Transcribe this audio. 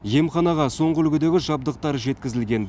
емханаға соңғы үлгідегі жабдықтар жеткізілген